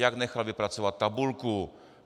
Jak nechal vypracovat tabulku.